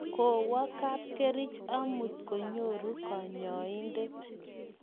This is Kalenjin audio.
kowo kapkerich amut konyoru kanyoindet